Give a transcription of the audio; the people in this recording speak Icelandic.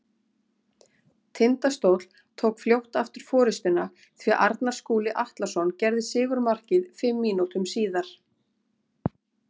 Tindastóll tók fljótt aftur forystuna því Arnar Skúli Atlason gerði sigurmarkið fimm mínútum síðar.